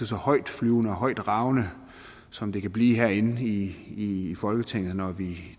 så højtflyvende og højtravende som det kan blive herinde i folketinget når vi